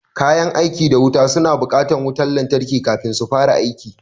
Kayan aiki da wuta suna buƙatar wutan lantarki kafin su fara aiki